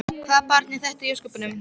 Hvaða barn var þetta í ósköpunum?